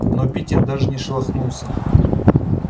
но питер даже не шелохнулся